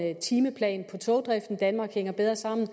en timeplan på togdriften så danmark hænger bedre sammen